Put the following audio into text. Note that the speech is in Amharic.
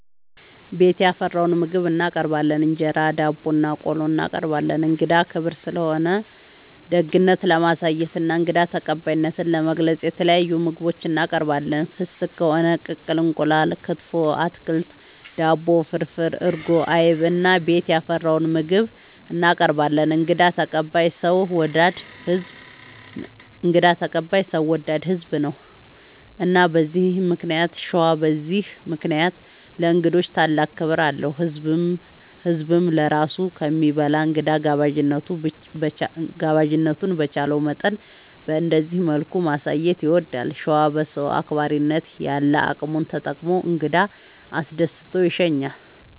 ቤት ያፈራውን ምግብ እናቀርባለን እንጀራ፣ ዳቦናቆሎ እናቀርባለን። እንግዳ ክብር ስለሆነ ደግነት ለማሳየትና እንግዳ ተቀባይነትን ለመግለፅ የተለያዩ ምግቦች እናቀርባለን። ፍስግ ከሆነ ቅቅል እንቁላል፣ ክትፎ፣ አትክልት፣ ዳቦ፣ ፍርፍር፣ እርጎ፣ አይብ እና ቤት ያፈራውን ምግብ እናቀርባለን እንግዳ ተቀባይ ሰው ወዳድ ህዝብ ነው። እና በዚህ ምክንያት ሸዋ በዚህ ምክንያት ለእንግዶች ታላቅ ክብር አለው። ህዝብም ለራሱ ከሚበላ እንግዳ ጋባዥነቱን በቻለው መጠን በእንደዚህ መልኩ ማሳየት ይወዳል። ሸዋ በሰው አክባሪነት ያለ አቅሙን ተጠቅሞ እንግዳ አስደስቶ ይሸኛል።